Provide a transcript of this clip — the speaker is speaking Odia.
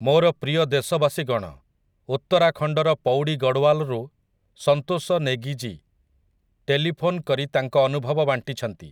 ମୋର ପ୍ରିୟ ଦେଶବାସୀଗଣ, ଉତ୍ତରାଖଣ୍ଡର ପୌଡ଼ି ଗଡ଼ୱାଲରୁ ସନ୍ତୋଷ ନେଗୀଜୀ ଟେଲିଫୋନ୍ କରି ତାଙ୍କ ଅନୁଭବ ବାଣ୍ଟିଛନ୍ତି ।